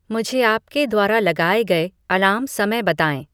मुझे आपके द्वारा लगाए गए अलार्म समय बताएं